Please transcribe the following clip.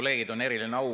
Head kolleegid!